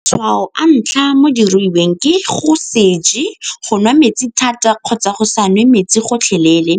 Matshwao a ntlha mo dirutweng ke go nwa metsi thata kgotsa go sa nwe metsi gotlhelele,